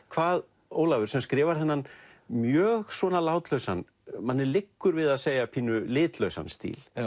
hvað Ólafur sem skrifar þennan mjög svona látlausa manni liggur við að segja litlausa stíl